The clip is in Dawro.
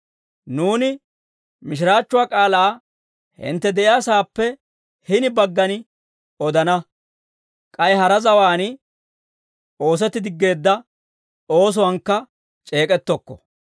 Nuuni mishiraachchuwaa k'aalaa hintte de'iyaasaappe hini baggan odana; k'ay hara zawaan oosetti diggeedda oosuwaankka c'eek'ettokko.